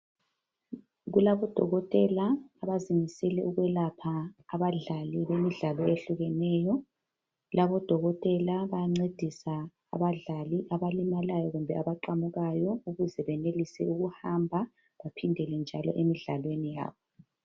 Kulabo dokotela abazimisele ukwelapha abadlali bemidlalo ehlukeneyo, labo odokotela bayancedisa abadlali abalimalayo kumbe abaqamukayo ukuze benelise ukuhamba bephindele njalo emidlalweni yabo.